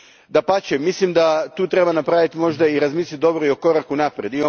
Dapače, mislim da tu treba napraviti možda i razmisliti dobro i o koraku naprijed.